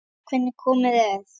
Sjáðu hvernig komið er.